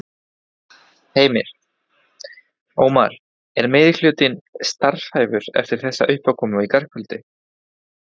Heimir: Ómar, er meirihlutinn starfhæfur eftir þessa uppákomu í gærkvöldi?